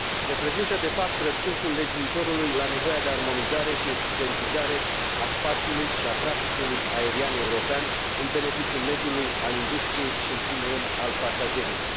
Reprezintă, de fapt, răspunsul legiuitorului la nevoia de armonizare și eficientizare a spațiului și a traficului aerian european în beneficiul mediului, al industriei și, în primul rând, al pasagerilor.